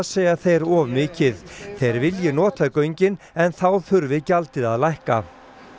segja þeir of mikið þeir vilji nota göngin en þá þurfi gjaldið að lækka